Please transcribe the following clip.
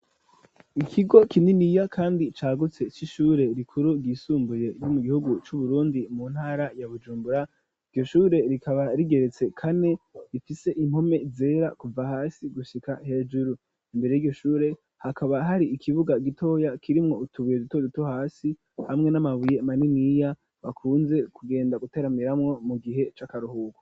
Ikigo kininiya, kandi cagutse, c'ishure rikuru ryisumbuye, ryo mu gihugu c'Uburundi, mu ntara ya Bujumbura; iryo shure, rikaba rigeretse kane; rifise impome zera kuva hasi, gushika hejuru; imbere y'iryo shure, hakaba hari ikibuga gitoya, kirimwo utubuye, duto duto hasi, hamwe n'amabuye maniniya, bakunze kugenda guteramiramwo, mu gihe c'akaruhuko.